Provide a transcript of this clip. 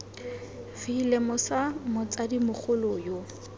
v lemosa motsadi mogolo yo